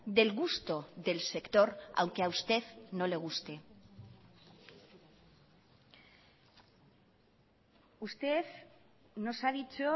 del gusto del sector aunque a usted no le guste usted nos ha dicho